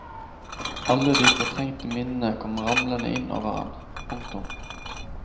Alle de fortrengte minnene kom ramlende inn over han. punktum